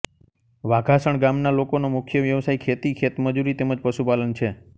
વાઘાસણ ગામના લોકોનો મુખ્ય વ્યવસાય ખેતી ખેતમજૂરી તેમ જ પશુપાલન છે